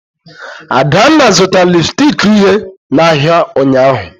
Adanna zụtara lịpstịk uhie n'ahịa ụnyahụ